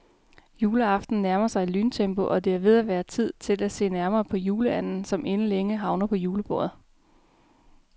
Juleaften nærmer sig i lyntempo, og det er ved at være tid til at se nærmere på juleanden, som inden længe havner på julebordet.